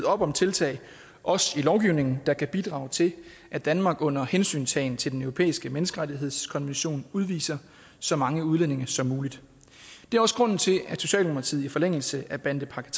op om tiltag også i lovgivningen der kan bidrage til at danmark under hensyntagen til den europæiske menneskerettighedskonvention udviser så mange udlændinge som muligt det er også grunden til at socialdemokratiet i forlængelse af bandepakke